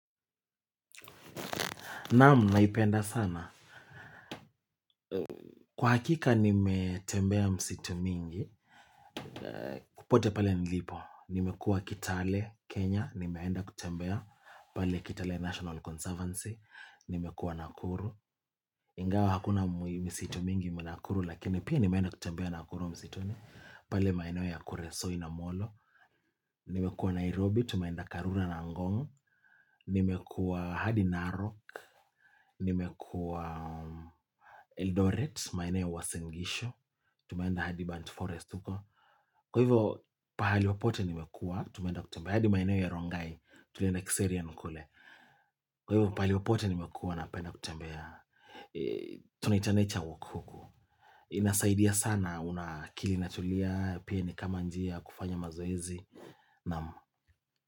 Naamu, naipenda sana. Kwa hakika, nimetembea msitu mingi. Popote pale nilipo. Nimekuwa Kitale, Kenya. Nimekuwa Kitale, National Conservancy. Nimekuwa Nakuru. Ingawa, hakuna misitu mingi mnakuru. Lakini, pia nimetembea Nakuru msituni. Pale maeneo ya kuresoi na molo. Nimekuwa Nairobi. Tumaenda Karura na Ngong. Nimekuwa hadi Narok. Nimekuwa Eldoret. Maeneo ya Uasin gishu tumeenda hadi band forest kwa hivyo pahali popote nimekua tumenda kutembea hadi maineo ya rongai tulienda kiserian kule kwa hivyo pahali popote nimekua napenda kutembea tunaita nature walk huku inasaidia sana una akili natulia pia nikama njia kufanya mazoezi naam.